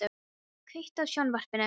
Eiríka, kveiktu á sjónvarpinu.